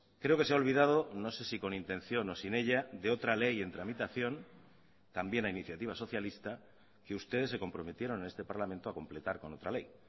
creo que se ha olvidado no sé si con intención o sin ella de otra ley en tramitación también a iniciativa socialista que ustedes se comprometieron en este parlamento a completar con otra ley